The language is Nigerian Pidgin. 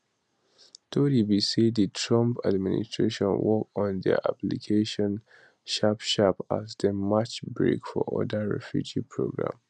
tori be say di trump administration work on dia applications sharpsharp as dem match brake for oda refugee programs